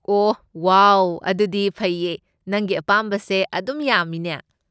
ꯑꯣꯍ wow, ꯑꯗꯨꯗꯤ ꯐꯩꯌꯦ, ꯅꯪꯒꯤ ꯑꯄꯥꯝꯕꯁꯦ ꯑꯗꯨꯝ ꯌꯥꯝꯃꯤꯅꯦ꯫